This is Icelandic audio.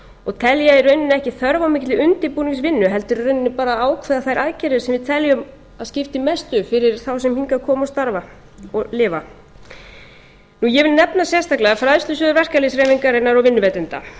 og tel ég í rauninni ekki þörf á mikilli undirbúningsvinnu heldur í rauninni bara að ákveða þær aðgerðir sem við teljum að skipti mestu fyrir þá sem hingað koma og starfa og lifa ég vil nefna sérstaklega fræðslusjóði verkalýðshreyfingar og vinnuveitenda